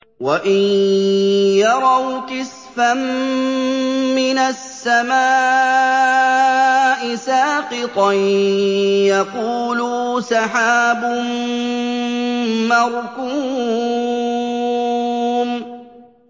وَإِن يَرَوْا كِسْفًا مِّنَ السَّمَاءِ سَاقِطًا يَقُولُوا سَحَابٌ مَّرْكُومٌ